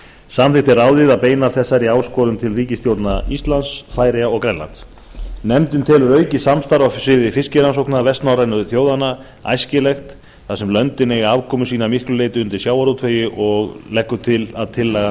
samþykkti ráðið að beina þessari áskorun til ríkisstjórna íslands færeyja og grænlands nefndin telur aukið samstarf á sviði fiskirannsókna vestnorrænu þjóðanna æskilegt þar sem löndin eiga afkomu sína að miklu leyti undir sjávarútvegi og leggur til að tillagan